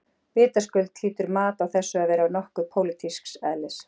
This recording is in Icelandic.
Vitaskuld hlýtur mat á þessu að vera nokkuð pólitísks eðlis.